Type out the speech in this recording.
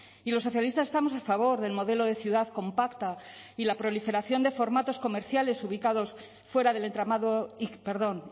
y los socialistas estamos a favor del modelo de ciudad compacta y la proliferación de formatos comerciales ubicados fuera del entramado perdón